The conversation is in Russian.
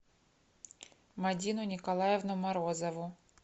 мадину николаевну морозову